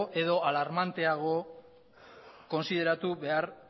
edo alarmanteago kontsideratu behar